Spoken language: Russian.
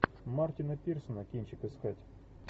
мартина пирсона кинчик искать